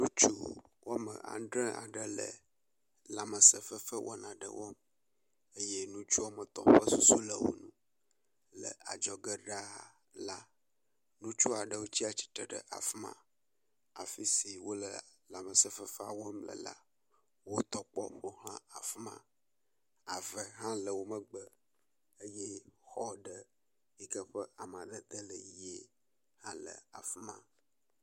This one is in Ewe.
Ŋutsu woame adre aɖe le lãmesẽ fefe wɔna aɖe wɔm eye ŋutsu woame tɔ̃ ƒe susu le wo ŋu. Le adzɔge laa ɖaa, ŋutsu aɖewo tsatsitre ɖe afi ma, afi si wole lãmesẽ fefea wɔm le la, woyɔ kpɔ ƒo xla afi ma, ave hã le wo megbe eye xɔ ɖe yike ƒe amadede le ʋɛ̃ hã le afi ma.